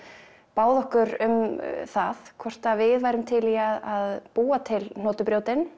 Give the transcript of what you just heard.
báðu okkur um það hvort að við værum til í að búa til